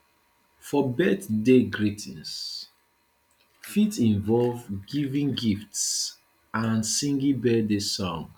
for birthday greeting fit involve giving gifts and singing birthday songs